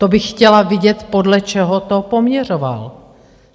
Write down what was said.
To bych chtěla vidět, podle čeho to poměřoval.